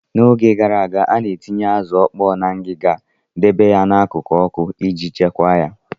N'oge gara aga, a na-etinye azụ ọkpọọ na ngiga, dobe ya n'akụkụ ọkụ iji chekwaa ya.